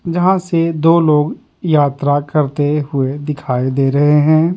जहां से दो लोग यात्रा करते हुए दिखाई दे रहे हैं ।